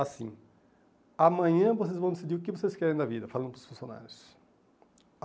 Assim, amanhã vocês vão decidir o que vocês querem da vida, falando para os funcionários.